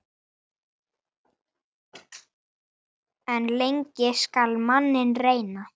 En lengi skal manninn reyna.